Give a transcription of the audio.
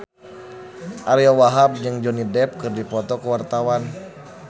Ariyo Wahab jeung Johnny Depp keur dipoto ku wartawan